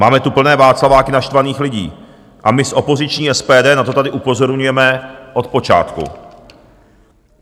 Máme tu plné Václaváky naštvaných lidí a my z opoziční SPD na to tady upozorňujeme od počátku.